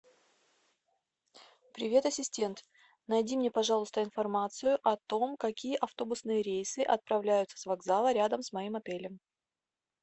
привет ассистент найди мне пожалуйста информацию о том какие автобусные рейсы отправляются с вокзала рядом с моим отелем